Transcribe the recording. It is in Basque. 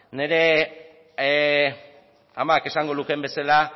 nire amak esango lukeen bezala